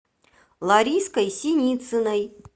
лариской синицыной